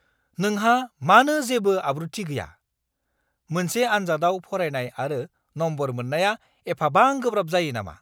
नोंहा मानो जेबो आब्रुथि गैया! मोनसे आनजादआव फरायनाय आरो नम्बर मोननाया एफाबां गोब्राब जायो नामा!